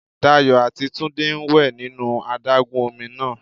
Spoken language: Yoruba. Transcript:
Dayò àti Túndé ń wè nínú adágún ọmi náà